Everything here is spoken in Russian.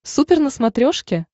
супер на смотрешке